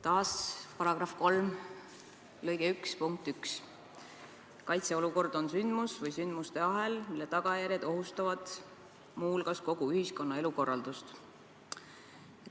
Taas § 3 lõige 1 punkt 1: kaitseolukord on sündmus või sündmuste ahel, mille tagajärjed ohustavad muu hulgas kogu ühiskonna elukorraldust.